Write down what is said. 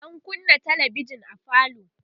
an kunnâ talabijan a falo